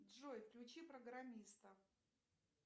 джой включи программиста